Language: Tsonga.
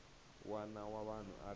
wana wa vanhu a ri